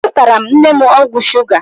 Azụtara m nne m ọgwụ shuga.